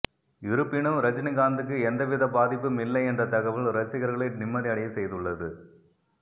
இருப்பினும் ரஜினிகாந்த்துக்கு எந்தவித பாதிப்பும் இல்லை என்ற தகவல் ரசிகர்களை நிம்மதி அடையச் செய்துள்ளது